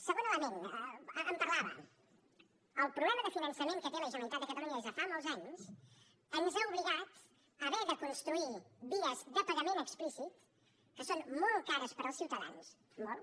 segon element en parlava el problema de finançament que té la generalitat de catalunya des de fa molts anys ens ha obligat a haver de construir vies de pagament explícit que són molt cares per als ciutadans molt